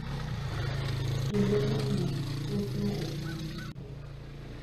Kinde mang’eny wuothno opong’ gi pek,